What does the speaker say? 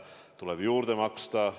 On tulnud juurde maksta.